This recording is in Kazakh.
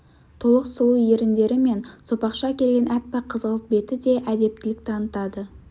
толық сұлу еріндері мен сопақша келген аппақ қызғылт беті де әдептілік танытады